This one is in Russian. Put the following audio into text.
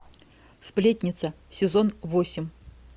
сплетница сезон восемь